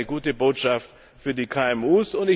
Das ist eine gute Botschaft für die KMU.